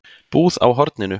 Búð á horninu?